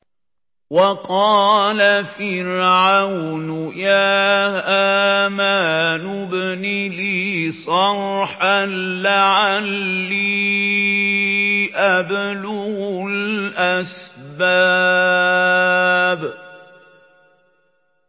وَقَالَ فِرْعَوْنُ يَا هَامَانُ ابْنِ لِي صَرْحًا لَّعَلِّي أَبْلُغُ الْأَسْبَابَ